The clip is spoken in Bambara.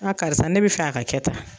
karisa ne bɛ fɛ a ka kɛ tan.